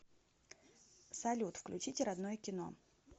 салют включите родное кино